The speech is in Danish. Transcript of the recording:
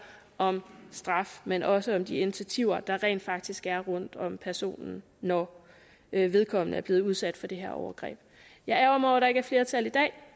om straf men også om de initiativer der rent faktisk er rundt om personen når vedkommende er blevet udsat for det her overgreb jeg ærgrer mig der ikke er flertal i dag